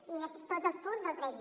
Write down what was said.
i després tots els punts del tres